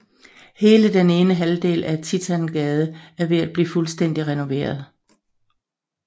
Hele den ene halvdel af Titangade er ved at blive fuldstændig renoveret